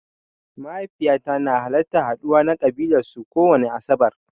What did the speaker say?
Mahaifiƴata na halartan haɗuwa na ƙabilan su kowani asaɓar.